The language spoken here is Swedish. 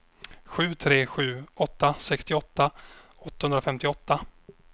sju tre sju åtta sextioåtta åttahundrafemtioåtta